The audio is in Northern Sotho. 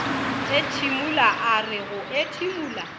ethimola a re go ethimola